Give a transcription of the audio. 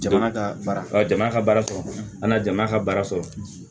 Jamana ka baara ɔ jamana ka baara sɔrɔ ani jamana ka baara sɔrɔ